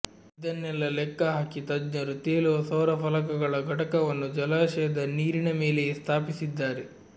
ಇದನ್ನೆಲ್ಲ ಲೆಕ್ಕ ಹಾಕಿ ತಜ್ಞರು ತೇಲುವ ಸೌರ ಫಲಕಗಳ ಘಟಕವನ್ನು ಜಲಾಶಯದ ನೀರಿನ ಮೇಲೆಯೇ ಸ್ಥಾಪಿಸಿದ್ದಾರೆ